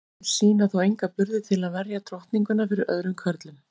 Þeir sýna þó enga burði til að verja drottninguna fyrir öðrum körlum.